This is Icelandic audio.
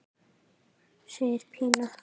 segir Pína.